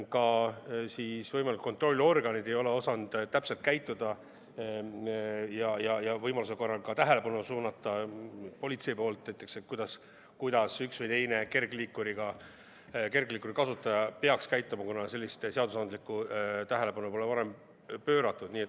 Ka võimalikud kontrollorganid ei ole osanud täpselt käituda ja politsei tähelepanu suunata, kuidas üks või teine kergliikuri kasutaja peaks käituma, kuna sellele pole varem õiguslikku tähelepanu pööratud.